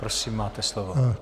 Prosím, máte slovo.